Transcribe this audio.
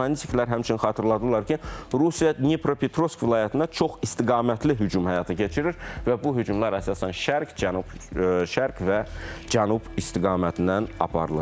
Analitiklər həmçinin xatırladılar ki, Rusiya Dnipropetrovsk vilayətinə çoxistiqamətli hücum həyata keçirir və bu hücumlar əsasən şərq, cənub, şərq və cənub istiqamətindən aparılır.